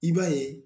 I b'a ye